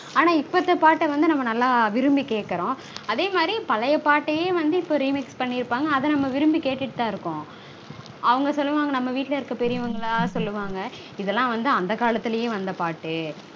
ஆனா இப்பத்த பாட்ட வந்து நாம விரும்பி கேக்கறோம். அதே மாதிரி பழைய பாட்டயே வந்து இப்போ remix பண்ணிருப்பாங்க. அத வந்து நாம விரும்பி கேட்டுட்டுதா இருக்கோம். அவங்க சொல்வாங்க நம்ம வீட்ல இருக்க பெரியவங்கலாம் சொல்லுவாங்க இதெல்லாம் வந்து அந்த காலத்துலையே வந்த பாட்டு